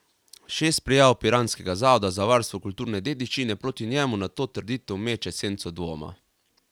Šest prijav piranskega zavoda za varstvo kulturne dediščine proti njemu na to trditev meče senco dvoma.